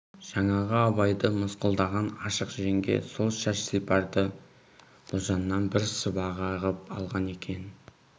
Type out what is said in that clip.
жаңағы абайды мысқылдаған ашық жеңге сол шаш сипарды ұлжаннан бір сыбаға ғып алған екен